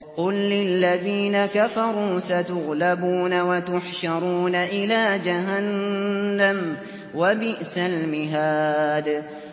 قُل لِّلَّذِينَ كَفَرُوا سَتُغْلَبُونَ وَتُحْشَرُونَ إِلَىٰ جَهَنَّمَ ۚ وَبِئْسَ الْمِهَادُ